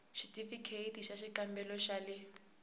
xithifikheyiti xa xikambelo xa le